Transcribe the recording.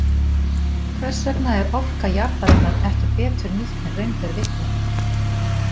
Hvers vegna er orka jarðarinnar ekki betur nýtt en raun ber vitni.